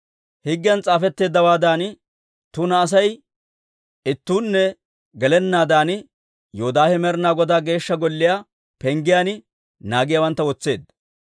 Higgiyan s'aafetteeddawaadan tuna Asay ittuunne gelennaadan Yoodaahe Med'inaa Godaa Geeshsha Golliyaa penggiyaan naagiyaawantta wotseedda.